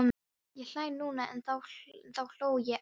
Ég hlæ núna en þá hló ég ekki.